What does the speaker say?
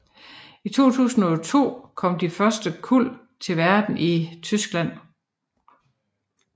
I 2002 kom de første kuld til verden i Tyskland